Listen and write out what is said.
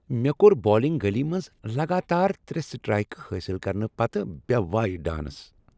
مےٚ کوٚر بالنگ گلی منٛز لگاتار ترٛےٚ سٹرائیکہٕ حٲصل کرنہٕ پتہٕ بے وایہ ڈانس۔